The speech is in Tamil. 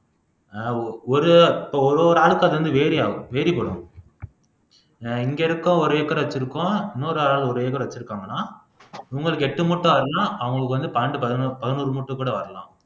ஆஹ் ஒ ஒரு இப்ப ஒரு ஒரு ஆளுக்கும் அது வந்து வெரியாகும் வேறுபடும் ஆஹ் இங்க இருக்க ஒரு ஏக்கர் வச்சிருக்கோம் இன்னொரு ஆள் ஒரு ஏக்கர் வச்சிருக்காங்கன்னா உங்களுக்கு எட்டு முட்டை அவங்களுக்கு வந்து பன்னெண்டு பதினோரு பதினோரு மூட்ட கூட வரலாம்